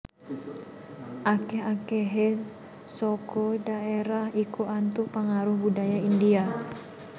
Akèh akèhé saka dhaérah iku antuk pangaruh budaya India